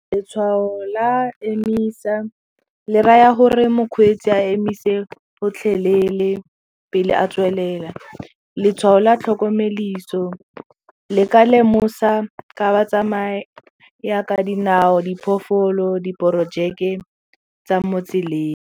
Letshwao la emisa le raya gore mokgweetsi a emise gotlhelele pele a tswelela, letshwao la le ka lemosa ka batsamaya ka dinao diphoofolo diporojeke tsa mo tseleng.